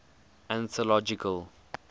anthological